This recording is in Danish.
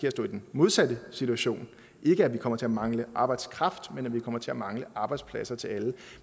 at stå i den modsatte situation ikke at vi kommer til at mangle arbejdskraft men at vi kommer til at mangle arbejdspladser til alle